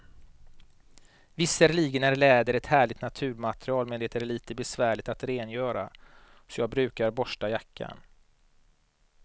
Visserligen är läder ett härligt naturmaterial, men det är lite besvärligt att rengöra, så jag brukar borsta jackan.